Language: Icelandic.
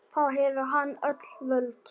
Þá hefur hann öll völd.